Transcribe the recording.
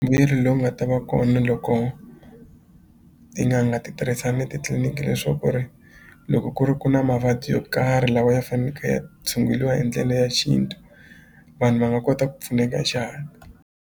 Mbuyelo lowu nga ta va kona loko tin'anga ti tirhisana ni titliliniki leswaku ri loko ku ri ku na mavabyi yo karhi lawa ya faneke ya tshunguliwa hi ndlela ya xintu vanhu va nga kota ku pfuneka hi .